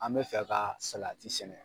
An bɛ fɛ ka salati sɛnɛ.